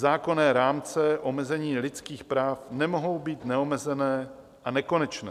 Zákonné rámce omezení lidských práv nemohou být neomezené a nekonečné.